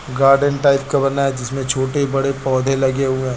Garden type का बना है जिसमें छोटे बड़े पौधे लगे हुए हैं।